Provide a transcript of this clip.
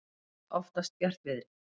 gola oftast bjartviðri.